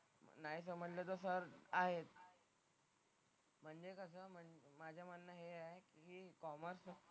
नाहीतर समजलं तर सर आहेच. म्हणजे कसं माझं म्हणणं हे आहे की कॉमर्स,